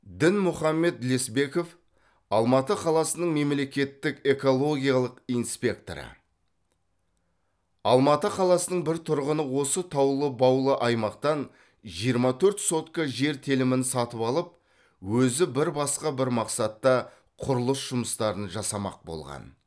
дінмұхамед лесбеков алматы қаласының мемлекеттік экологиялық инспекторы алматы қаласының бір тұрғыны осы таулы баулы аймақтан жиырма төрт сотка жер телімін сатып алып өзі бір басқа бір мақсатта құрылыс жұмыстарын жасамақ болған